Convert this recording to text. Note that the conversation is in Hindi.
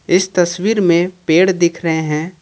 इस तस्वीर में पेड़ दिख रहे हैं।